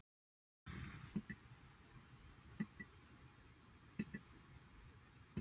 Þetta sem kemur upp aftast.